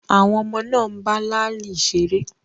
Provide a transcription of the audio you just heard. Àwọn ọmọ náà ń bá láàlì ṣeré.